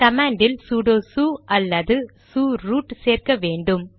command இல் sudo su அல்லது su root சேர்க்க வேண்டும்